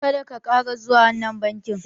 Ka da ka ƙara zuwa wannan bankin!